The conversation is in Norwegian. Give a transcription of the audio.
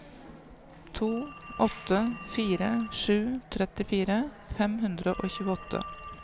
to åtte fire sju trettifire fem hundre og tjueåtte